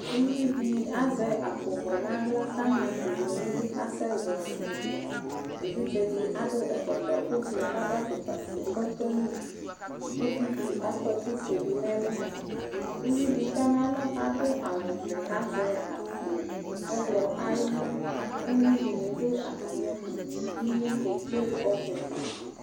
Uvidi azɛ akpowɛ n'aɣla k'ama akpovɛ n'idu k'asɛ zɔɔlɩ ɛdɩɛ Evidzedɩ akɔ ɛkɔtɔ ʋblʋ k'adʋ afʋlpafue, k'ɔfʋa n'udu ; uvidɩ akɔ ɛkʋfue dʋ n'ɛlʋ , uvidɩ tɔ n'alɔ k'adʋ awʋvɛ k'azɛ akpo ɔɣlɔ ay'ʋmɔ Uyuidɩnɩ dʋ atamɩɛtʋ , inye kedze ɔbʋɛ